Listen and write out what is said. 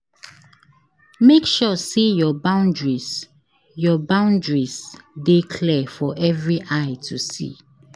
Make sure say your boundaries your boundaries de clear for every eye to see